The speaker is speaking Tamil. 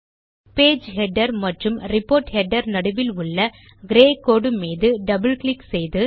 பேஜ் ஹெடர் மற்றும் ரிப்போர்ட் ஹெடர் நடுவில் உள்ள கிரே கோடு மீது டபிள் கிளிக் செய்து